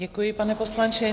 Děkuji, pane poslanče.